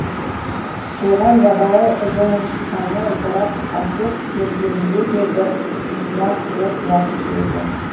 оған жабайы жоңышқаны орап әкеп бергенінде де бір ұсынақтылық жатушы еді